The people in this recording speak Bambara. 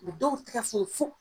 U dɔw tɛgɛ funu f'o